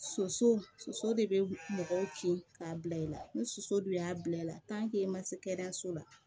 Soso soso de bɛ mɔgɔw kin k'a bila i la ni soso dun y'a bila i la i ma se kɛnɛyaso la